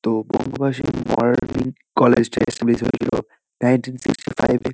তো Bangabasi Morning College -টা establish হয়েছিল নাইনটিন সিক্সটি ফাইভ -এ।